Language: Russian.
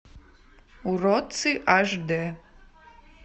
уродцы аш д